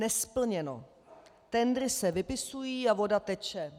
Nesplněno, tendry se vypisují a voda teče.